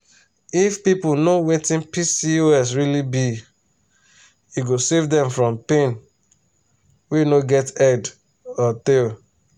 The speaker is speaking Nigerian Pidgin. if people know wetin pcos really be e go save dem from pain wey no get head or tail